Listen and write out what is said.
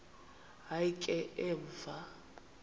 hayi ke emva